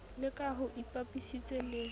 la ka ho ipapisitswe le